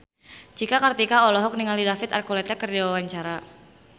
Cika Kartika olohok ningali David Archuletta keur diwawancara